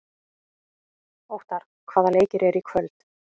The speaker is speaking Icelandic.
Óttarr, hvaða leikir eru í kvöld?